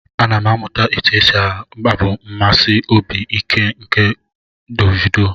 Ana m amụta otu esi abụ mmesi obi ike nke Davido.